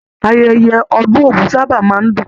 Ayẹyẹ ọdun ogún sábà máa n dùn.